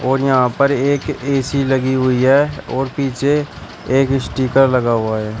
और यहाँ पर एक ए_सी लगी हुई है और पीछे एक स्टीकर लगा हुआ है।